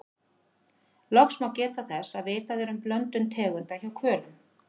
loks má geta þess að vitað er um blöndun tegunda hjá hvölum